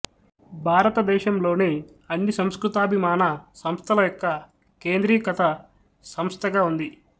భారతదేశంలోని అన్ని సంస్కృతాభిమాన సంస్థల యొక్క కేంద్రీకత సంస్థగా ఉంది